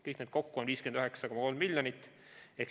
Kõik need kokku on 59,3 miljonit.